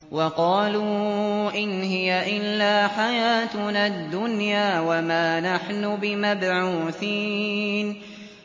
وَقَالُوا إِنْ هِيَ إِلَّا حَيَاتُنَا الدُّنْيَا وَمَا نَحْنُ بِمَبْعُوثِينَ